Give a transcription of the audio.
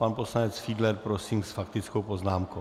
Pan poslanec Fiedler, prosím, s faktickou poznámkou.